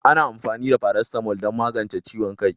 Ana amfani da "Paracetamol" don magance ciwon kai